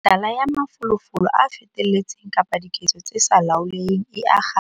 Mehlala ya mafolofolo a feteletseng kapa diketso tse sa laoleheng e akga.